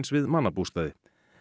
við mannabústaði